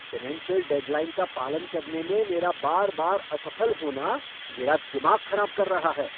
Financial deadline का पालन करने में मेरा बार बार असफल होना मेरा दिमाग खराब कर रहा है।